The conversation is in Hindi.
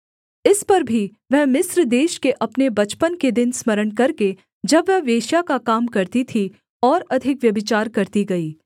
इस पर भी वह मिस्र देश के अपने बचपन के दिन स्मरण करके जब वह वेश्या का काम करती थी और अधिक व्यभिचार करती गई